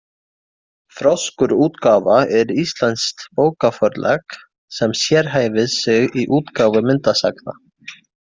Froskur útgáfa er íslenskt bókaforlag sem sérhæfir sig í útgáfu myndasagna.